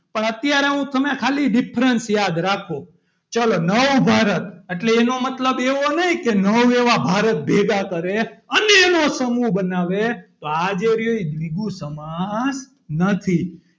પણ અત્યારે હું તમે ખાલી difference યાદ રાખો ચાલો નવ ભારત એટલે એનો મતલબ એવો નહીં કે નવ એવા ભારત ભેગા કરે અને એનો સમૂહ બનાવે તો આજે એ દ્વિગુ સમાસ નથી.